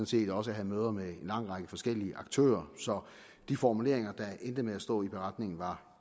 set også havde møder med en lang række forskellige aktører så de formuleringer der endte med at stå i beretningen var